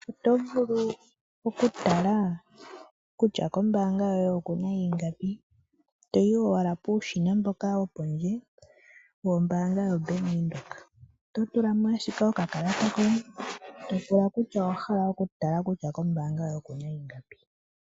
Otovulu okutala kutya kombaanga yoye okuna ingapi toyi owala puushina mboka wopondje, wombaanga yoBank windhoek totulamo ashike okakalata koye topula kutya owahalaa okutala kutya kombaanga yoye okuna ingapi.